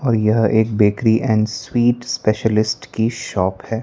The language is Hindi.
और यह एक बेकरी एंड स्वीट स्पेशलिस्ट की शॉप है।